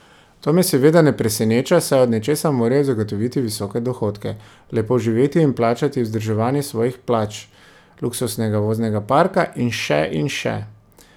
To me seveda ne preseneča, saj od nečesa morajo zagotoviti visoke dohodke, lepo živeti in plačati vzdrževanje svojih palač, luksuznega voznega parka in še in še.